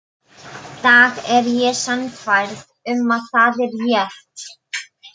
dag er ég sannfærð um að það er rétt.